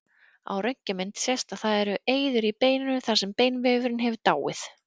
Á röntgenmynd sést að það eru eyður í beininu þar sem beinvefurinn hefur dáið.